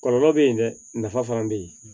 Kɔlɔlɔ bɛ yen dɛ nafa fana bɛ yen